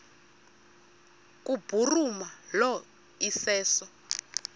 kubhuruma lo iseso